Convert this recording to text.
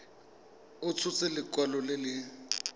a tshotse lekwalo le le